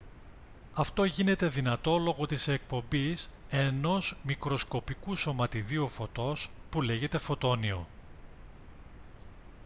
αυτό γίνεται δυνατό λόγω της εκπομής ενός μικροσκοπικού σωματιδίου φωτός που λέγεται «φωτόνιο»